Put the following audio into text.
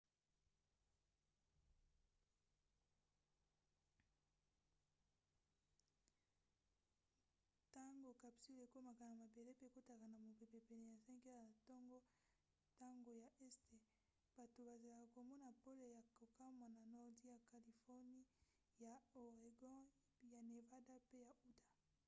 ntango capsule ekomaka na mabele pe ekotaka na mopepe pene ya 5 heures ya ntongo ntango ya este bato bazelaka komona pole ya kokamwa na nordi ya californie ya oregon ya nevada pe ya utah